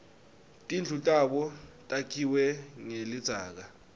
tindlu tabo takhiwe ngelidzaka